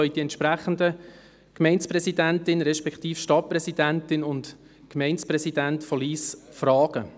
Sie können die entsprechende Gemeindepräsidentin, respektive Stadtpräsidentin, sowie den Gemeindepräsidenten von Lyss fragen.